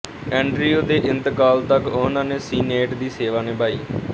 Andrew ਦੇ ਇੰਤਕਾਲ ਤੱਕ ਉਹਨਾਂ ਨੇ ਸੀਨੇਟ ਦੀ ਸੇਵਾ ਨਿਭਾਈ